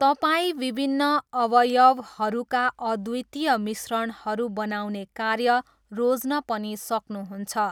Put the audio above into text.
तपाईँ विभिन्न अवयवहरूका अद्वितीय मिश्रणहरू बनाउने कार्य रोज्न पनि सक्नुहुन्छ।